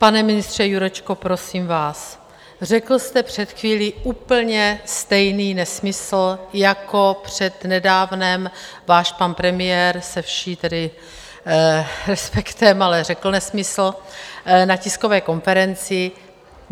Pane ministře Jurečko, prosím vás, řekl jste před chvílí úplně stejný nesmysl jako před nedávnem váš pan premiér, se vším tedy respektem, ale řekl nesmysl na tiskové konferenci.